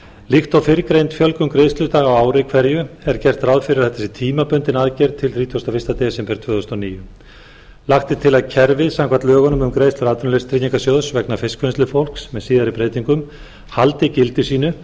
líkt og fyrrgreind fjölgun greiðsludaga á ári hverju er gert ráð fyrir að þetta sé tímabundin aðgerð til þrítugasta og fyrsta desember tvö þúsund og níu lagt er til að kerfið samkvæmt lögunum um greiðslur atvinnuleysistryggingasjóðs vegna fiskvinnslufólks með síðari breytingum haldi gildi sínu